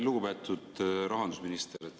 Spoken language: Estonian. Lugupeetud rahandusminister!